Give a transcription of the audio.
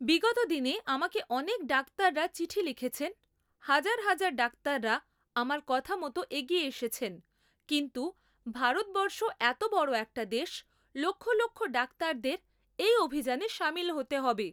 বিগত দিনে আমাকে অনেক ডাক্তাররা চিঠি লিখেছেন, হাজার হাজার ডাক্তাররা আমার কথা মতো এগিয়ে এসেছেন, কিন্তু ভারতবর্ষ এত বড় একটা দেশ, লক্ষ লক্ষ ডাক্তারদের এই অভিযানে সামিল হতে হবে।